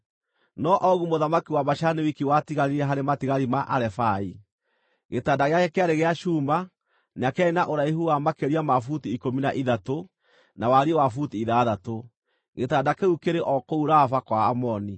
(No Ogu mũthamaki wa Bashani wiki watigarire harĩ matigari ma Arefai. Gĩtanda gĩake kĩarĩ gĩa cuuma, na kĩarĩ na ũraihu wa makĩria ma buti ikũmi na ithatũ, na wariĩ wa buti ithathatũ. Gĩtanda kĩu kĩrĩ o kũu Raba kwa Aamoni.)